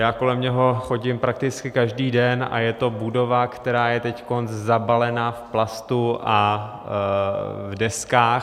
Já kolem něho chodím prakticky každý den a je to budova, která je teď zabalena v plastu a v deskách.